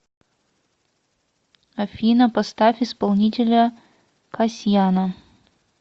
афина поставь исполнителя касьяна